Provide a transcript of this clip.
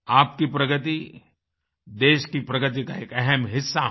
आपकी प्रगति देश की प्रगति का एक अहम हिस्सा है